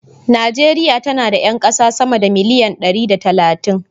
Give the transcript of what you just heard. Najeriya tana da 'yan kasa sama da miliyan dari da talatin.